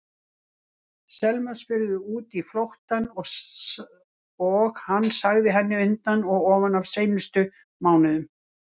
Selma spurði út í flóttann og hann sagði henni undan og ofan af seinustu mánuðum.